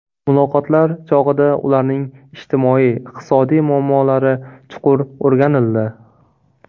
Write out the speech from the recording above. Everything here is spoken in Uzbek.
Muloqotlar chog‘ida ularning ijtimoiy-iqtisodiy muammolari chuqur o‘rganildi.